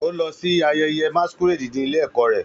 Ó lọ sí ayẹyẹ masquerade ní ilé-ẹ̀kọ́ rẹ̀.